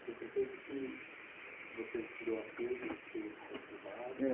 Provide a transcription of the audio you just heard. Porque eu percebo que você virou ateu, teve esse período conturbado.h.